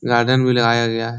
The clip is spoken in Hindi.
गार्डन भी लाया गया है।